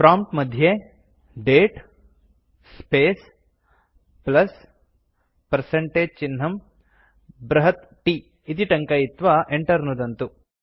prompt मध्ये दते space plus percentage चिह्नं बृहत् T इति टङ्कयित्वा enter नुदन्तु